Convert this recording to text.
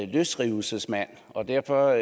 løsrivelsesmand og derfor